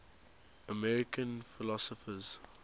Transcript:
american philosophers